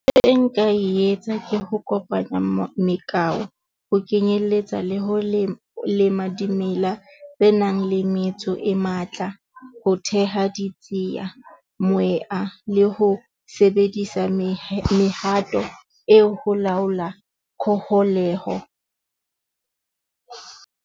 E nka e etsa ke ho kopanya , ho kenyelletsa le ho lema dimela tse nang le metso e matla ho theha , le ho sebedisa mehato eo ho laola .